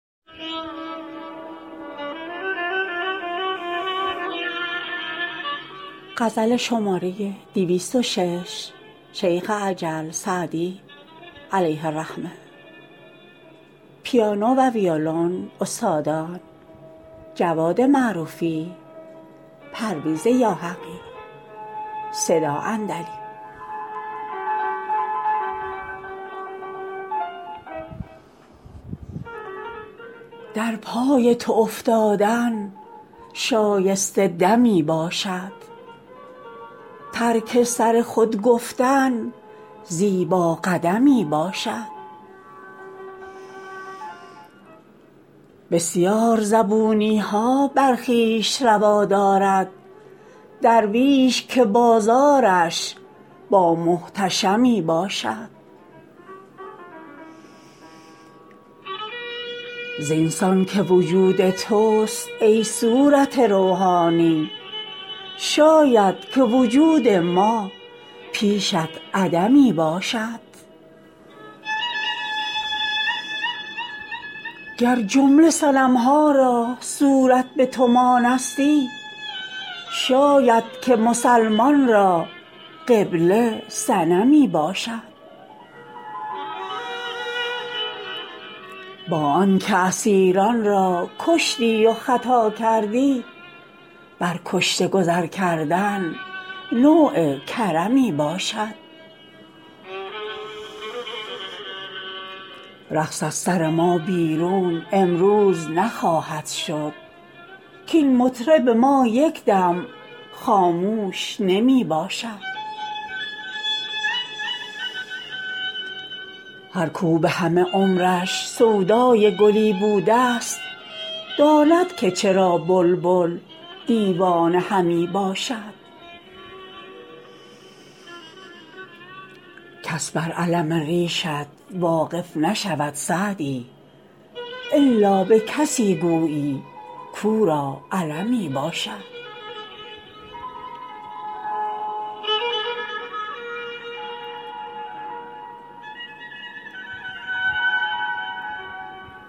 در پای تو افتادن شایسته دمی باشد ترک سر خود گفتن زیبا قدمی باشد بسیار زبونی ها بر خویش روا دارد درویش که بازارش با محتشمی باشد زین سان که وجود توست ای صورت روحانی شاید که وجود ما پیشت عدمی باشد گر جمله صنم ها را صورت به تو مانستی شاید که مسلمان را قبله صنمی باشد با آن که اسیران را کشتی و خطا کردی بر کشته گذر کردن نوع کرمی باشد رقص از سر ما بیرون امروز نخواهد شد کاین مطرب ما یک دم خاموش نمی باشد هر کاو به همه عمرش سودای گلی بوده ست داند که چرا بلبل دیوانه همی باشد کس بر الم ریشت واقف نشود سعدی الا به کسی گویی کاو را المی باشد